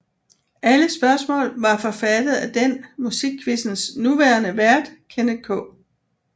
Alle spørgsmål var forfattet af den Musikquizzens nuværende vært Kenneth K